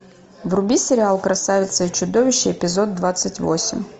вруби сериал красавица и чудовище эпизод двадцать восемь